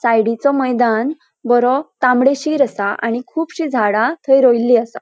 सायडीचो मैदान बरो तांबडीशीर आसा आणि खूबशीं झाडा थंय रोइली असा.